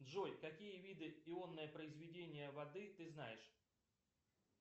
джой какие виды ионное произведение воды ты знаешь